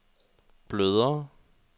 blødere